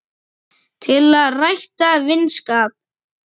til að rækta vinskap